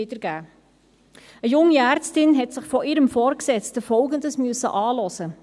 Eine junge Ärztin musste sich von ihrem Vorgesetzten folgendes Anhören: